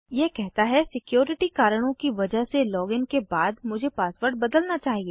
यह कहता है सिक्योरिटी कारणों की वजह से लॉगिन के बाद मुझे पासवर्ड बदलना चाहिए